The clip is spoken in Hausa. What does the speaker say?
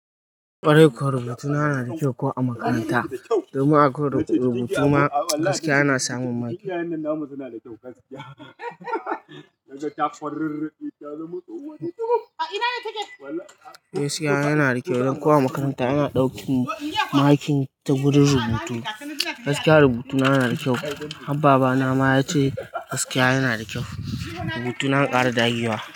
Kwarai, rubutuna yana da kyau ko a makaranta. Domin a koyar da rubutu ma gaskiya ana samun maki. Gaskiya yana da kyau, dan ko a makaranta yana ɗaukan maki ta wurin rubutu. Gaskiya rubutu na yana da kyau. Har babana ma ya ce gaskiya yana da kyau. Rubutuna an ƙara dagewa.